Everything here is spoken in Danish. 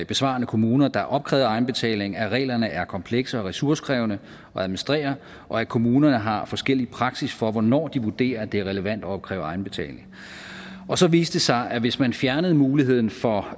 besvarende kommuner der opkrævede egenbetaling at reglerne er komplekse og ressourcekrævende at administrere og at kommunerne har forskellig praksis for hvornår de vurderer at det er relevant at opkræve egenbetaling og så viste det sig at hvis man fjernede muligheden for